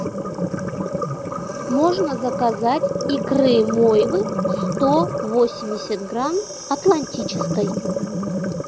можно заказать икры мойвы сто восемьдесят грамм атлантической